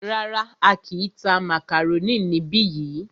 Rárá,á kìí tá màkàrónì níbi yìí.